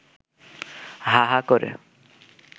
হা হা করে